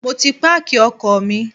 Mo ti páàkì ọkọ̀ mi.